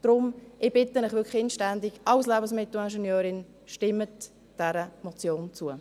Deshalb bitte ich Sie wirklich inständig als Lebensmittelingenieurin: Stimmen Sie dieser Motion zu.